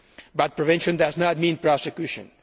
But prevention does not mean prosecution.